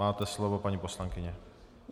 Máte slovo, paní poslankyně.